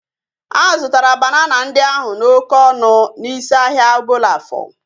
A zụtara banana ndị ahu n'oké ọnụ n'isi ahia Obollo-Afor